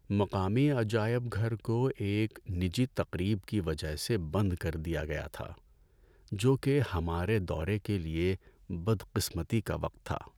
مقامی عجائب گھر کو ایک نجی تقریب کی وجہ سے بند کر دیا گیا تھا، جو کہ ہمارے دورے کے لیے بدقسمتی کا وقت تھا۔